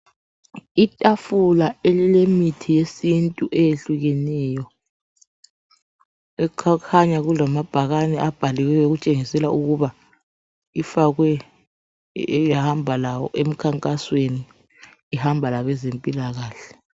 Itafula elilemithi yesintu ehlukeneyo. Okukhanya kulamabhakane abhaliweyo ukutshengisela ukuba ifakwe eyahamba lawo emkhankasweni. Ihamba labezempilakahle.